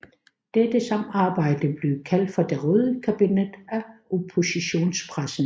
Dette samarbejde blev kaldt for det røde kabinet af oppositionspressen